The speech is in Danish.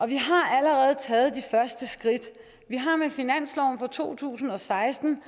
vi har allerede taget de første skridt vi har med finansloven for to tusind og seksten